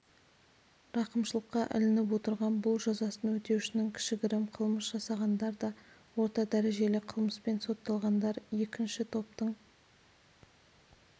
рақымшылыққа ілініп отырған бұл жазасын өтеушінің кішігірім қылмыс жасағандар да орта дәрежелі қылмыспен сотталғандар екінші топтың